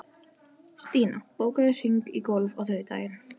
Stína, bókaðu hring í golf á þriðjudaginn.